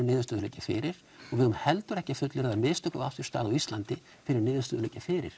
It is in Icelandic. niðurstöður liggja fyrir og við eigum heldur ekki að fullyrða að mistök hafi átt sér stað á Íslandi fyrr en niðurstöður liggja fyrir